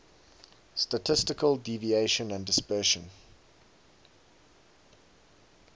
statistical deviation and dispersion